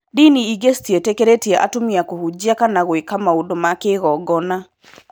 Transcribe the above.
Ndini ingĩ citiĩtĩkĩrĩtie atumia kũhunjia kana gũĩka maũndũ ma kĩngogona.